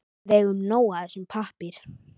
Við eigum nóg af þessum pappír.